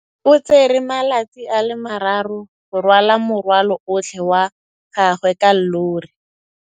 O tsere malatsi a le marraro go rwala morwalo otlhe wa gagwe ka llori.